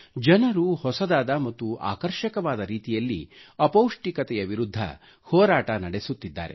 ಜನರು ಹೊಸದಾದ ಮತ್ತು ಆಕರ್ಷಕ ರೀತಿಯಲ್ಲಿ ಅಪೌಷ್ಟಿಕತೆಯ ವಿರುದ್ಧ ಹೋರಾಟ ನಡೆಸುತ್ತಿದ್ದಾರೆ